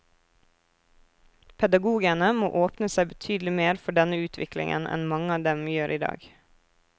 Pedagogene må åpne seg betydelig mer for denne utviklingen enn mange av dem gjør i dag.